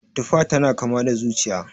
Tufa tana kama da zuciya